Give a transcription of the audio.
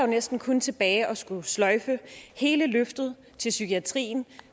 næsten kun tilbage at skulle sløjfe hele løftet til psykiatrien